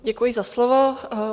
Děkuji za slovo.